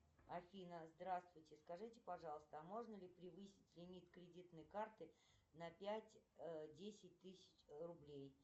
афина здравствуйте скажите пожалуйста а можно ли превысить лимит кредитной карты на пять десять тысяч рублей